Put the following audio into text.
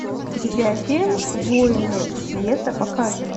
видеофильм воины света покажи